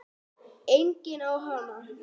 Enginn á hana.